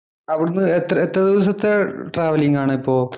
അവിടുന്ന് എത്ര ദിവസത്തെ ട്രാവലിംഗ് ആണിപ്പോ.